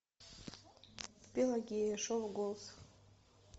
пелагея шоу голос